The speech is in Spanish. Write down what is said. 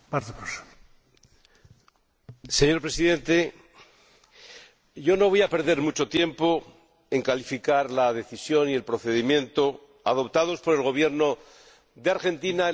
Señor Presidente, no voy a perder mucho tiempo en calificar la decisión y el procedimiento adoptados por el Gobierno de Argentina en la expropiación de YPF Repsol.